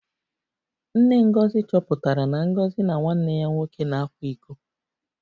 Nne Ngozi chọpụtara na Ngozi na nwanne ya nwoke na-akwa iko